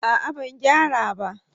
a'a ban gyara ba